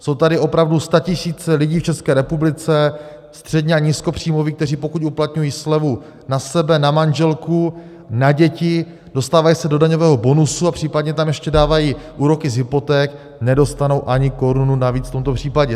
Jsou tady opravdu statisíce lidí v České republice středně- a nízkopříjmoví, kteří pokud uplatňují slevu na sebe, na manželku, na děti, dostávají se do daňového bonusu a případně tam ještě dávají úroky z hypoték, nedostanou ani korunu navíc v tomto případě.